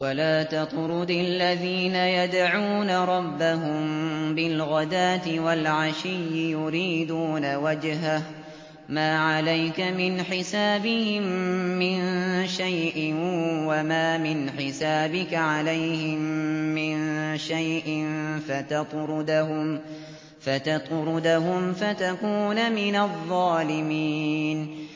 وَلَا تَطْرُدِ الَّذِينَ يَدْعُونَ رَبَّهُم بِالْغَدَاةِ وَالْعَشِيِّ يُرِيدُونَ وَجْهَهُ ۖ مَا عَلَيْكَ مِنْ حِسَابِهِم مِّن شَيْءٍ وَمَا مِنْ حِسَابِكَ عَلَيْهِم مِّن شَيْءٍ فَتَطْرُدَهُمْ فَتَكُونَ مِنَ الظَّالِمِينَ